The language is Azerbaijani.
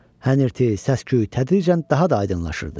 Hənirti, səsküy tədricən daha da aydınlaşırdı.